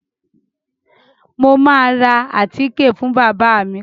Mo máa ra àtíke fún bábà mi.